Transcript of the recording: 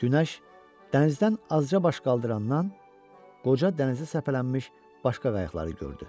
Günəş dənizdən azca baş qaldırandan qoca dənizə səpələnmiş başqa qayıqları gördü.